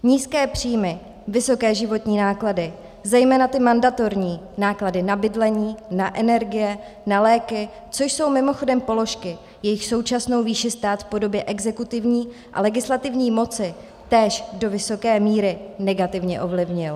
Nízké příjmy, vysoké životní náklady, zejména ty mandatorní, náklady na bydlení, na energie, na léky, což jsou mimochodem položky, jejichž současnou výši stát v podobě exekutivní a legislativní moci též do vysoké míry negativně ovlivnil.